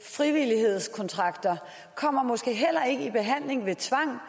frivillighedskontrakter kommer måske heller ikke i behandling ved tvang